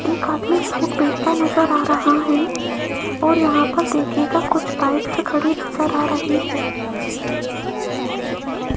एक आदमी फ्रूट बेचता नजर आ रहा है और यहां पर देखिएगा कुछ बाइक्स खड़ी नजर आ रही है।